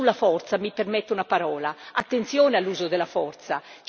E sulla forza mi permetta una parola, attenzione all'uso della forza.